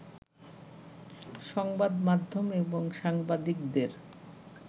সংবাদ মাধ্যম এবং সাংবাদিকদের